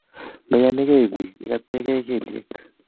mayanikei piik ineno ikotekei kelyek